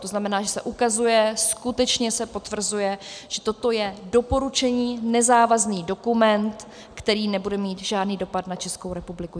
To znamená, že se ukazuje, skutečně se potvrzuje, že toto je doporučení, nezávazný dokument, který nebude mít žádný dopad na Českou republiku.